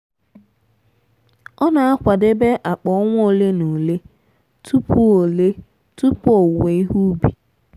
ọ na-akwadebe akpa ọnwa ole na ole tupu ole tupu owuwe ihe ubi.